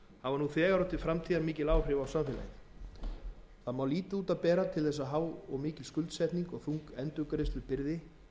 þegar og til framtíðar mikil áhrif á samfélag okkar lítið má út af að bera til þess að há skuldsetning og þung endurgreiðslubyrði